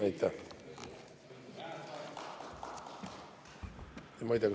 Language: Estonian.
Aitäh!